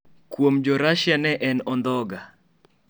Kuom jo rashia ne en ondhoga.